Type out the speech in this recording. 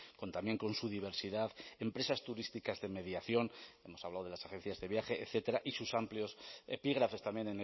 con también con su diversidad empresas turísticas de mediación hemos hablado de las agencias de viaje etcétera y sus amplios epígrafes también